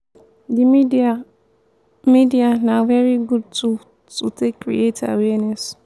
di media media na very good tool to take create awareness